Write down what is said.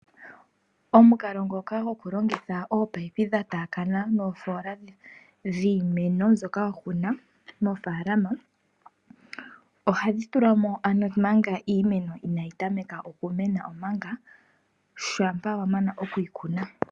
Omukalo ngoka gokulongitha ominono dhatakana noofola dhiimeno mbyoka wakuna mofalama ohadhi tulwamo nomanga iimeno inayi tameka okumena omanga shampa wamana okuyi kuna.